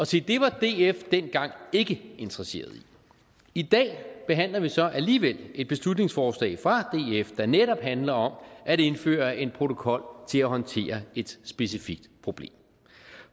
se det var df dengang ikke interesseret i i dag behandler vi så alligevel et beslutningsforslag fra df der netop handler om at indføre en protokol til at håndtere et specifikt problem